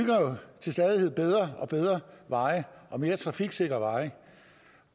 til stadighed bedre og bedre og mere trafiksikre veje